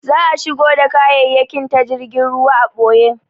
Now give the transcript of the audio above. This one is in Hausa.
Za'a shigo da kayayyakin ta jirgin ruwa a ɓoye.